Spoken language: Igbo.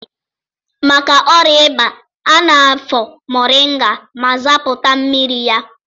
Maka ọrịa ịba, a na-afọ moringa ma zapụta mmiri ya.